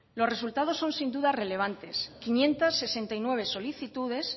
los resultados son sin duda relevantes quinientos sesenta y nueve solicitudes